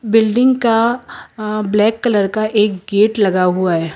Building का अह black colour का एक गेट लगा हुआ है।